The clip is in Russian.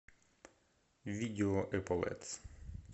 видео эполетс